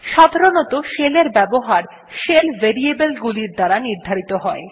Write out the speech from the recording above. সাধারনতঃ শেলের এর ব্যবহার শেল ভেরিয়েবল গুলির দ্বারা নির্ধারিত হয়